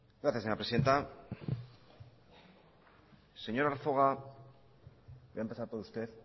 gracias señora presidenta señor arzuaga voy a empezar por usted